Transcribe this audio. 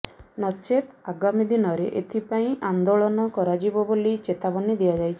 ନଚେତ୍ ଆଗାମୀ ଦିନରେ ଏଥିପାଇଁ ଆନେ୍ଦାଳନ କରାଯିବ ବୋଲି ଚେତାବନୀ ଦିଆଯାଇଛି